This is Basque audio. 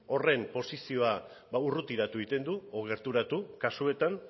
horren posizioa ba urrutiratu egiten du edo gerturatu kasuetan